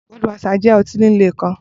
Budweiser jẹ ọti ọti-lile kan